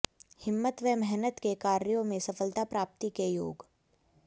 हिम्मत व मेहनत के कार्यों मे सफलता प्राप्ति के योग